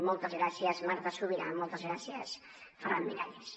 moltes gràcies marta subirà moltes gràcies ferran miralles